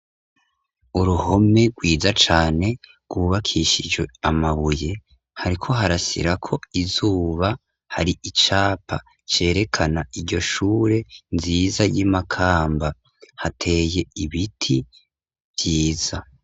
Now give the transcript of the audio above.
Uruhome rwiza cane rwubakishijwe amabuye hariko harasirako izuba, hari icapa cerekana iryo shure nziza y'iMakamba ,hateye ibiti vyiza.